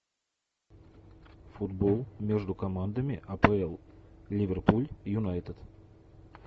футбол между командами апл ливерпуль юнайтед